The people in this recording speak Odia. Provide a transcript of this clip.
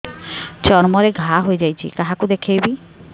ଚର୍ମ ରେ ଘା ହୋଇଯାଇଛି କାହାକୁ ଦେଖେଇବି